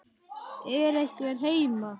Er einhver heima?